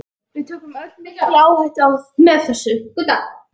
Við tökum öll mikla áhættu með þessu.